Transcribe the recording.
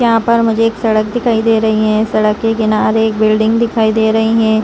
यहाँ पर मुझे एक सड़क दिखाई दे रही है। सड़क के किनारे एक बिल्डिंग दिखाई दे रही है।